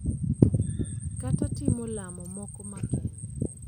Kata timo lamo moko makende, .